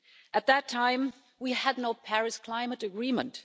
At that time, we had no Paris climate agreement.